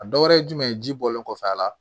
A dɔ wɛrɛ ye jumɛn ye ji bɔlen kɔfɛ a la